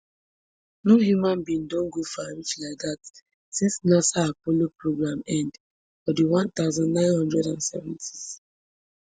no human being don go far reach like dat since nasa apollo programme end for di one thousand, nine hundred and seventys